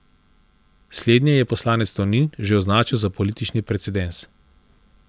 Slednje je poslanec Tonin že označil za politični precedens.